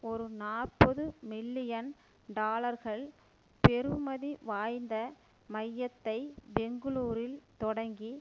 ஒரு நாற்பது மில்லியன் டாலர்கள் பெறுமதி வாய்ந்த மையத்தை பெங்களூரில் தொடங்கி